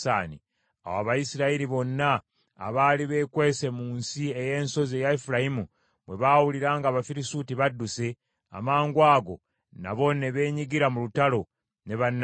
Awo Abayisirayiri bonna abaali beekwese mu nsi ey’ensozi eya Efulayimu bwe baawulira ng’Abafirisuuti badduse, amangwago nabo ne beenyigira mu lutalo ne bannaabwe.